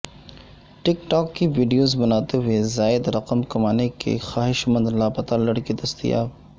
ٹک talk کی videos بناتے ہوئے زائد رقم کمانے کے خواہشمند لاپتہ لڑکے دستیاب